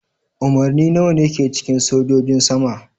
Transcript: Umarni nawa ne ke cikin sojojin sama?